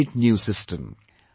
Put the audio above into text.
This is a great new system